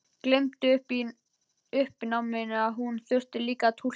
Gleymdi í uppnáminu að hún þurfti líka að túlka.